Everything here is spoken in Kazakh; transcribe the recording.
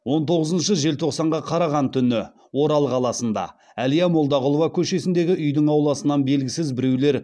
он тоғызыншы желтоқсанға қараған түні орал қаласында әлия молдағұлова көшесіндегі үйдің ауласынан белгісіз біреулер